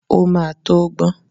Ó máa tó gbọ́n.